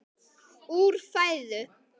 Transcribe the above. úr fæðu